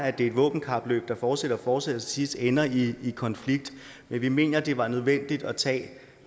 at det er et våbenkapløb der fortsætter og fortsætter sidste ender i i konflikt vi mener det var nødvendigt at tage